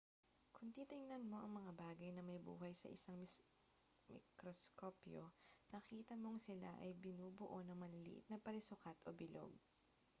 kung titingnan mo ang mga bagay na may buhay sa isang mikroskopyo makikita mong sila ay binubuo ng maliliit na parisukat o bilog